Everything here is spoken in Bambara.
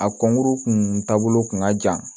A kɔnkuru kun taabolo kun ka jan